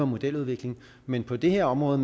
modeludvikling men på det her område